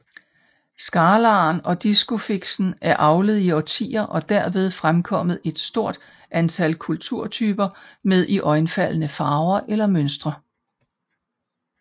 Scalaren og Discusfisken er avlet i årtier og derved fremkommet et stort antal kulturtyper med iøjnefaldende farver eller mønstre